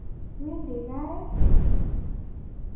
Iwendi kaa ii?